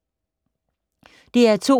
DR2